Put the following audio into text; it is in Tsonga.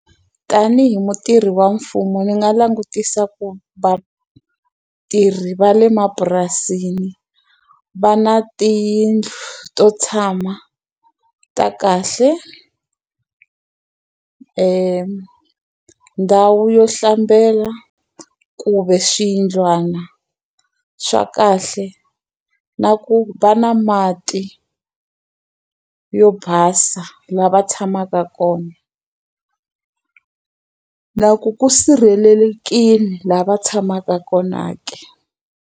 Tanihi mutirhi wa mfumo ni nga langutisa ku vatirhi va le mapurasini, va na tiyindlu to tshama ta kahle ndhawu yo hlambela, kumbe swiyindlwana swa kahle. Na ku va na mati yo basa laha va tshamaka kona. Na ku ku sirhelelekile laha va tshamaka kona ke?